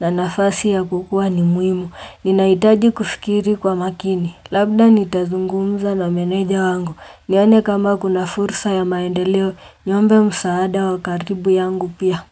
na nafasi ya kukua ni muhimu. Ninahitaji kufikiri kwa makini Labda nitazungumza na meneja wangu nione kama kuna fursa ya maendeleo Niombe msaada wa karibu yangu pia.